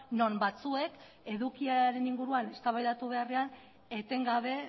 non batzuek edukiaren inguruan eztabaidatu beharrean etengabe